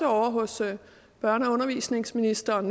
ovre hos børne og undervisningsministeren